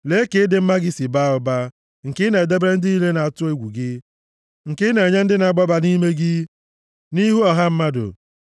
Lee ka ịdị mma gị si baa ụba, nke i na-edebere ndị niile na-atụ egwu gị, nke ị na-enye ndị na-agbaba nʼime gị, nʼihu ọha mmadụ.